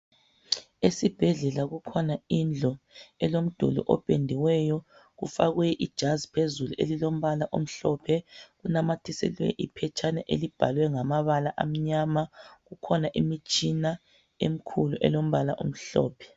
Esibhedlela kukhona indlu elomduli opendiweyo kufakwe ijazi phezulu elilombala omhlophe kunanyathiselwe iphetshana elibhalwe ngamabala amnyama kukhona imitshina emikhulu elombala omhlophe